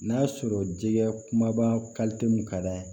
N'a sɔrɔ jɛgɛ kumaba mun ka d'an ye